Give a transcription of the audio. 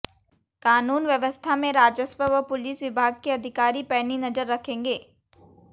कानून व्यवस्था में राजस्व व पुलिस विभाग के अधिकारी पैनी नजर रखेंगे